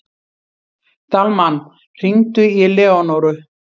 Dalmann, hringdu í Leónóru.